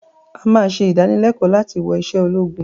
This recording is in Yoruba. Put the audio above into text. àá máa ṣe ìdánilẹ̀kọ̀ láti wọ̀ ìṣe ológun